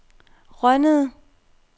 Rønnede